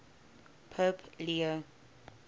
pope leo